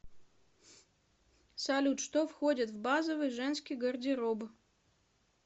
салют что входит в базовый женский гардероб